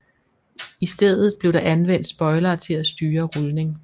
I stedet blev der anvendt spoilere til at styre rulning